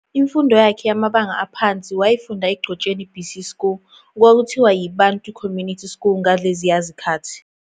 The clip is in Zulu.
imfundo yakhe yamabanga aphansi wayifunda eGcotsheni BC School, okwakuthiwa yiBantu Community School ngaleziya zikhathi.